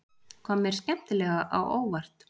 Kom mér skemmtilega á óvart